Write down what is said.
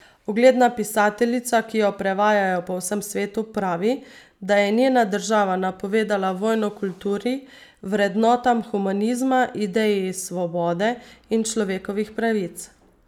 Ugledna pisateljica, ki jo prevajajo po vsem svetu, pravi, da je njena država napovedala vojno kulturi, vrednotam humanizma, ideji svobode in človekovih pravic.